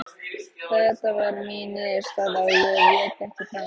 Þeta var mín niðurstaða og ég vék ekki frá henni.